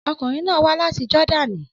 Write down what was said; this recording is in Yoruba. Ọkunrin naa wa lati Jordani